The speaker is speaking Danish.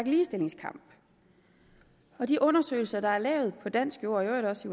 ligestillingskamp de undersøgelser der er lavet på på dansk jord og i øvrigt også